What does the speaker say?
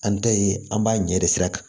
An ta ye an b'a ɲɛ de sira kan